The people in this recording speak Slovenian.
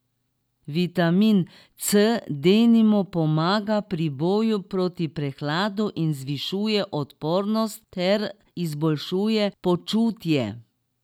Vitamin C denimo pomaga pri boju proti prehladu in zvišuje odpornost ter izboljšuje počutje.